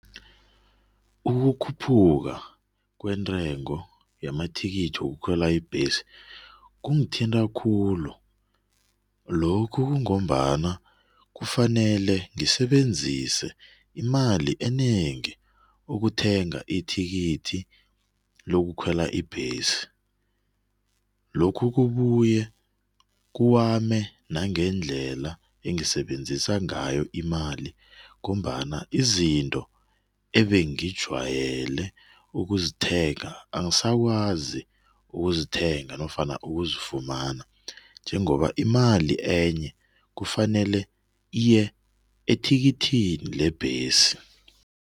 Ukukhuphuka kwentengo yamathikithi wokukhwela ibhesi kungithinta khulu. Lokhu kungombana kufanele ngisebenzise imali enengi ukuthenga ithikithi lokukhwela ibhesi. Lokhu kubuye kuwame nangendlela engisebenzisa ngayo imali ngombana izinto ebengijwayele ukuzithenga, angisakwazi ukuzithenga nofana ukuzifumana njengoba imali enye kufanele iye ethikithini lebhesi.